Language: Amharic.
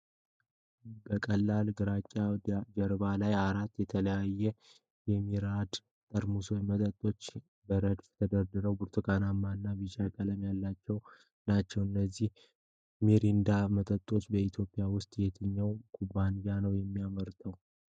በቀላል ግራጫ ጀርባ ላይ፣ አራት የተለያዩ የ"ሚሪንዳ" መጠጦች በረድፍ ተደርድረው ብርቱካናማ እና ቢጫ ቀለም ያላቸው ናቸው። እነዚህ ሚሪንዳ መጠጦች በኢትዮጵያ ውስጥ በየትኛው ኩባንያ ነው የሚመረቱት?